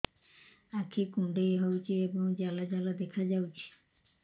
ଆଖି କୁଣ୍ଡେଇ ହେଉଛି ଏବଂ ଜାଲ ଜାଲ ଦେଖାଯାଉଛି